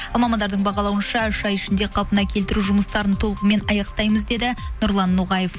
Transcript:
мамандардың бағалануынша үш ай ішінде қалпына келтіру жұмыстарын толығымен аяқтаймыз деді нұрлан ноғаев